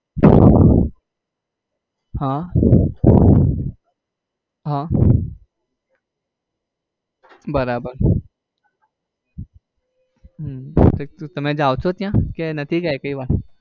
હમ હમ બરાબર હમ તમે જાવ છો ત્યાં કે નથી ગયા એકે વાર?